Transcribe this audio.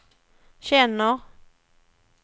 känner